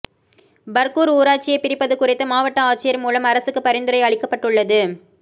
பா்கூா் ஊராட்சியைப் பிரிப்பது குறித்து மாவட்ட ஆட்சியா் மூலம் அரசுக்குப் பரிந்துரை அளிக்கப்பட்டுள்ளது